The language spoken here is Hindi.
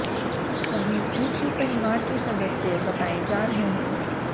सभी एक ही परिवार के सदस्य बताये जा रहे हैं